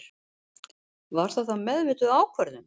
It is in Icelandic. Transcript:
Var það meðvituð ákvörðun?